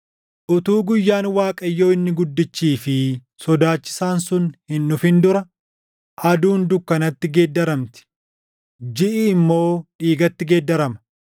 Utuu guyyaan Waaqayyoo inni guddichii fi sodaachisaan sun hin dhufin dura, aduun dukkanatti geeddaramti; jiʼi immoo dhiigatti geeddarama.